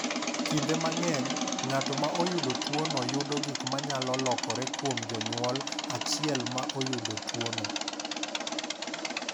"Kinde mang’eny, ng’at ma oyudo tuwono yudo gik ma nyalo lokore kuom jonyuol achiel ma oyudo tuwono."